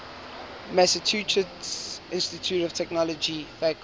massachusetts institute of technology faculty